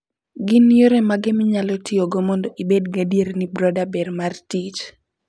Gin yore mage minyalo tiyogo mondo ibed gadier ni brooder ber mar tich?